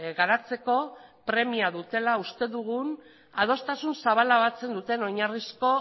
garatzeko premia dutela uste dugun adostasun zabala batzen duten oinarrizko